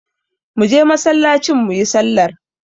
Muje masallacin muyi sallar